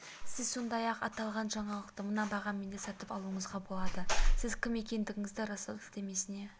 сіз сондай-ақ аталған жаңалықты мына бағамен де сатып алуыңызға болады сіз кім екендігіңізді растау сілтемесіне